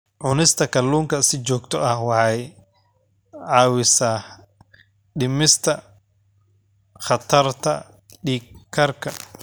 Cunista kalluunka si joogto ah waxay caawisaa dhimista khatarta dhiig karka.